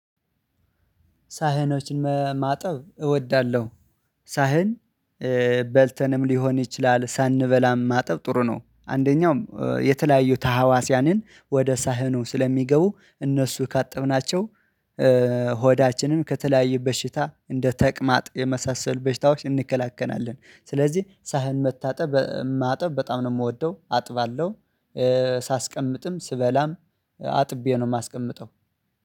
ሳህኖችን ማጠብ እወዳለሁ። ሳህን በልተንም ሊሆን ይችላል ሳንበላም ማጠብ ጥሩ ነው አንደኛው የተለያዩ ተሀዋስያንን ወደ ሳህኑ ስለሚገቡ እነሱ ካጠብናቸው። ሆዳችንን ከተለያዩ በሽታ እንደ ተቅማጥ የመሳሰል በሽታዎች እንከላከናለን ስለዚህ ሳህን መታጠብ ማጠብ በጣም ነው የምወደው አጥባለሁ። ሳስቀምጥም ስበላም አጥቤ ነው የማስቀምጠው።